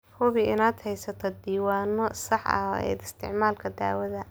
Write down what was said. Hubi inaad haysatid diiwaanno sax ah ee isticmaalka daawada.